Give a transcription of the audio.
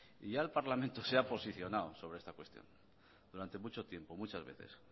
y ya el parlamento se ha posicionada sobre esta cuestión durante mucho tiempo muchas veces